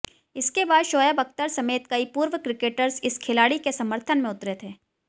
इसके बाद शोएब अख्तर समेत कई पूर्व क्रिकेटर्स इस खिलाड़ी के समर्थन में उतरे थे